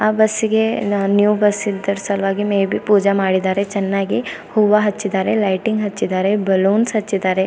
ಆ ಬಸ್ಸಿಗೆ new bus ಇದ್ದರಸಲುವಾಗಿ ಮೇ ಬಿ ಪೂಜೆ ಮಾಡಿದ್ದಾರೆ ಚೆನ್ನಾಗಿ ಹೂವ ಹಚ್ಚಿದ್ದಾರೆ ಲೈಟಿಂಗ್ಸ್ ಹಚ್ಚಿದ್ದಾರೆ ಬಲೂನ್ಸ್ ಹಚ್ಚಿದಾರೆ.